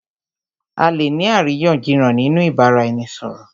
À lè ní àríyànjiyàn nínú ìbáraẹnisọ̀rọ̀.